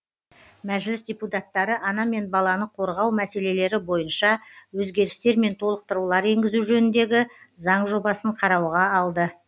мәжіліс депутаттары ана мен баланы қорғау мәселелері бойынша өзгерістер мен толықтырулар енгізу жөніндегі заң жобасын қарауға алды